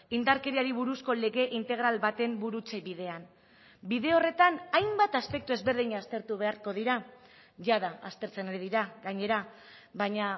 indarkeriari buruzko lege integral baten burutze bidean bide horretan hainbat aspektu ezberdin aztertu beharko dira jada aztertzen ari dira gainera baina